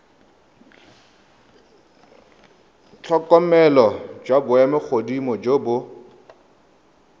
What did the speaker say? tlhokomelo jwa maemogodimo jo bo